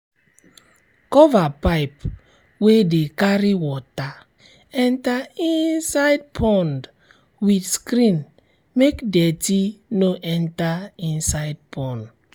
cover pipe wey de carry water enter inside pond with screen make dirty no enter inside pond